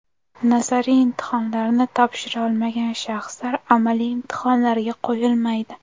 Nazariy imtihonlarni topshira olmagan shaxslar amaliy imtihonlarga qo‘yilmaydi.